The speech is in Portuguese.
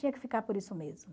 Tinha que ficar por isso mesmo.